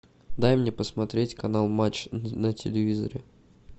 дай мне посмотреть канал матч на телевизоре